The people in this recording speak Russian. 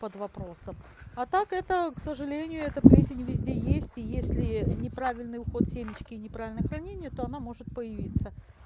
под вопросом а так эта к сожалению эта плесень везде есть если неправильный уход семечки неправильное хранение то она может появиться